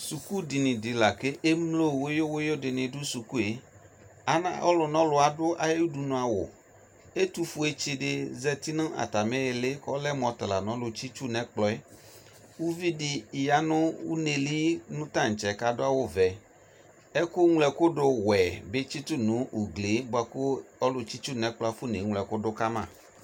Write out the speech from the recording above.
Sukudini de ko emlo wuyuwuyu de ne do sukueAnaa, Ɔlunɔlu ado aye udunu awu Ɛtofue tse de zati no atame ili ko ɔlɛ mo ata la no alu tsitsu no ɛkplɔɛ Uvi de ya no uneli tantsɛ ko ado awuvɛ Ɛkuñloɛkudo wɛ be tseto no uglie boako ɔlutsitsunɛkplɔ afona eñlo ɛko do kama